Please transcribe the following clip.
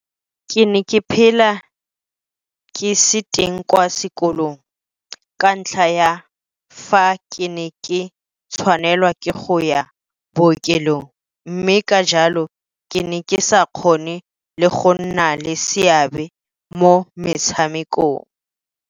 Ke ne ke phela ke se teng kwa sekolong ka ntlha ya fa ke ne ke tshwanelwa ke go ya bookelong mme ka jalo ke ne ke sa kgone le go nna le seabe mo metshamekong.